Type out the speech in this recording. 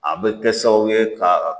A bɛ kɛ sababu ye ka